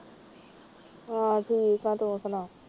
ਹੋਰ ਠੀਕ ਆ ਤੂੰ ਸੁਣਾ